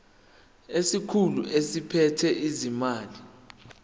isikhulu esiphethe ezezimali